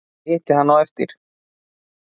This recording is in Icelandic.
Ég hitti hann á eftir.